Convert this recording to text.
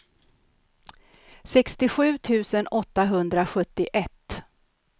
sextiosju tusen åttahundrasjuttioett